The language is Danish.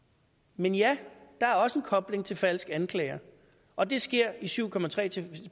men ja der er også en kobling til falske anklager og det sker i syv